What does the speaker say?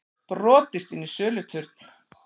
Brotist inn í söluturn